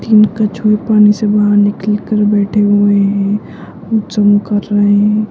तीन कछुए पानी से बाहर निकल कर बैठे हुए है जंप कर रहे है।